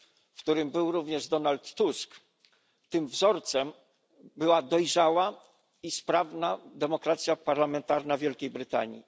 w którym był również Donald Tusk, tym wzorcem była dojrzała i sprawna demokracja parlamentarna Wielkiej Brytanii.